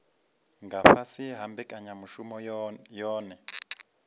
nga fhasi ha mbekanyamushumo yohe